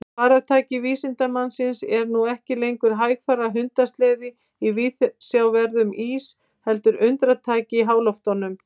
Farartæki vísindamannsins er nú ekki lengur hægfara hundasleði í viðsjárverðum ís heldur undratæki í háloftunum.